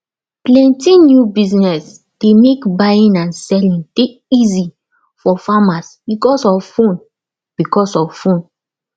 plenty new business dey mek buying and selling dey easy for farmers becos of phone becos of phone